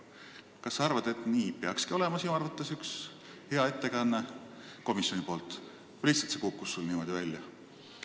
Kas selline peakski sinu arvates olema üks hea ettekanne komisjoni nimel või see lihtsalt kukkus sul niimoodi välja?